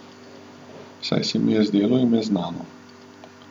Saj se mi je zdelo ime znano.